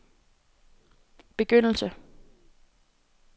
begyndelse